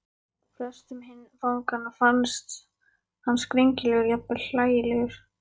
Flestum hinna fanganna fannst hann skringilegur, jafnvel hlægilegur.